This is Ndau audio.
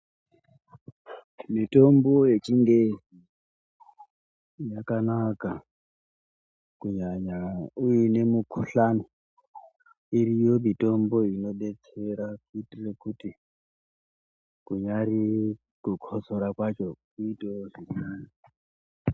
Mitombo yechingezi yakanaka kunyanya une mukuhlani iriyo mitombo inodetsera kuti kunyari kukotsora kwacho kuitewo zviri nane.